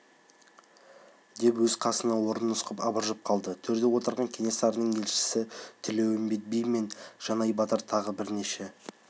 деп өз қасынан орын нұсқап абыржып қалды төрде отырған кенесарының елшісі тілеуімбет би мен жанай батыр тағы бірнеше